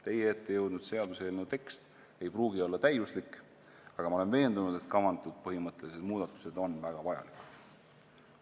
Teie ette jõudnud seaduseelnõu tekst ei pruugi olla täiuslik, aga ma olen veendunud, et kavandatud põhimõttelised muudatused on väga vajalikud.